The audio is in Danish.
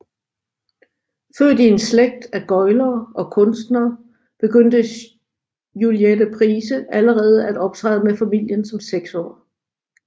Født i en slægt af gøglere og kunstnere begyndte Juliette Price allerede at optræde med familien som seksårig